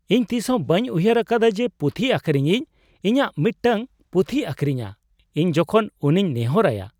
ᱤᱧ ᱛᱤᱥᱦᱚᱸ ᱵᱟᱹᱧ ᱩᱭᱦᱟᱹᱨ ᱟᱠᱟᱫᱟ ᱡᱮ ᱯᱩᱛᱷᱤ ᱟᱹᱠᱷᱨᱤᱧᱤᱡ ᱤᱧᱟᱹᱜ ᱢᱤᱫᱴᱟᱝ ᱯᱩᱛᱷᱤᱭ ᱟᱹᱠᱷᱨᱤᱧᱟ ᱤᱧ ᱡᱚᱠᱷᱚᱱ ᱩᱱᱤᱧ ᱱᱮᱦᱚᱨ ᱟᱭᱟ ᱾